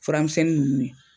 Furamisɛnni nunnu.